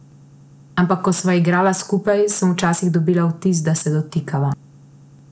Ampak ko sva igrala skupaj, sem včasih dobila vtis, da se dotikava.